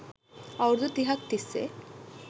අවුරුදු තිහක් තිස්සේ